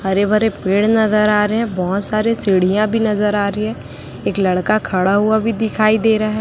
हरे भरे पेड़ नजर आ रहे हैं बहुत सारे सीढ़ियां भी नजर आ रही है एक लड़का खड़ा हुआ भी दिखाई दे रहा है।